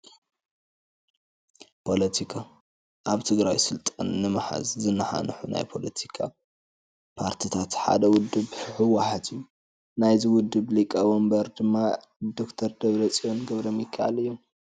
ፖለቲካ፡- ኣብ ትግራይ ስልጣን ንምሓዝ ዝናሓንሑ ናይ ፖለቲካ ፓርቲታት ሓደ ውድብ ህ. ወ. ሓ. ት እዩ፡፡ ናይዚ ውድብ ሊቀ ወንበር ድማ ደ/ፅን ገ/ሚካኤል እዮም፡፡